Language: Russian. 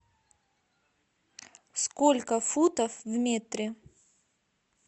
сколько футов в метре